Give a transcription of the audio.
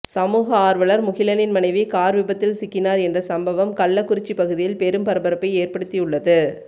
சமூக ஆர்வலர் முகிலனின் மனைவி கார் விபத்தில் சிக்கினார் என்ற சம்பவம் கள்ளக்குறிச்சி பகுதியில் பெரும் பரபரப்பை ஏற்படுத்தி உள்ளது